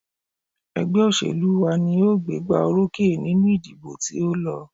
Ẹgbẹ́ òṣèlú wa ní o gbégbá orókè nínú ìdìbò tí o lọ.